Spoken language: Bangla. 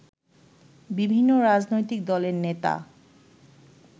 বিভিন্ন রাজনৈতিক দলের নেতা